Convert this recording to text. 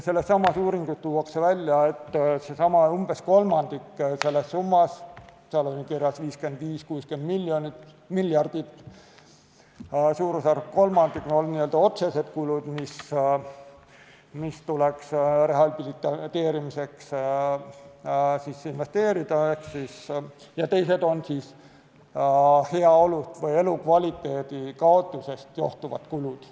Sellessamas uuringus tuuakse välja, et umbes kolmandik sellest summast – seal oli kirjas 55–60 miljardit, suurusjärgus kolmandik – on n-ö otsesed kulud, mis tuleks rehabiliteerimiseks investeerida, ja teised on heaolu või elukvaliteedi kaotusest johtuvad kulud.